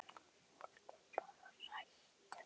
Fólk er bara hrætt.